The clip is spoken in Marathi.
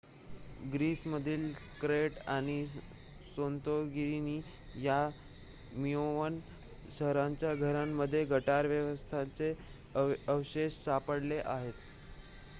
ग्रीसमधील क्रेट आणि सांतोरिनी या मिनोअन शहरांच्या घरांमध्ये गटार व्यवस्थांचे अवशेष सापडले आहेत